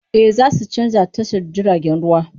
E, za su canza tashar jiragen ruwa.